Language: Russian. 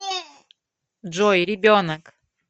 джой ребенок